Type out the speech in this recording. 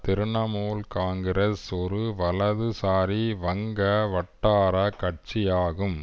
திருணமூல் காங்கிரஸ் ஒரு வலதுசாரி வங்க வட்டார கட்சி ஆகும்